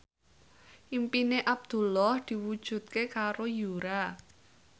impine Abdullah diwujudke karo Yura